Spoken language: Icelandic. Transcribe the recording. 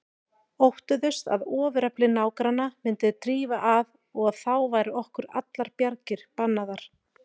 Óttuðust að ofurefli nágranna myndi drífa að og að þá væru okkur allar bjargir bannaðar.